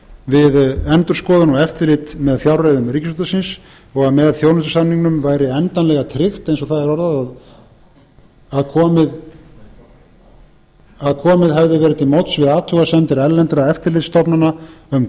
við endurskoðun og eftirlit með fjárreiðum ríkisútvarpsins og með þjónustusamningnum væri endanlega tryggt eins og það er orðað að komið hefði verið til móts við athugasemdir erlendra eftirlitsstofnana um